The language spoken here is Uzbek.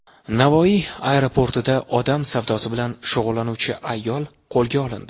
Navoiy aeroportida odam savdosi bilan shug‘ullanuvchi ayol qo‘lga olindi.